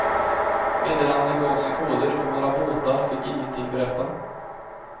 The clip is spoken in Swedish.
Meddelandena gavs i koder och våra båtar fick ingenting berätta.